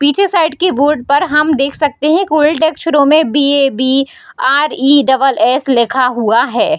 पीछे साइड की बोर्ड पर हम देख सकते हैं। कोल्ड डेस्क में रौ में बीएबी आरइ डबल एस लिखा हुआ है।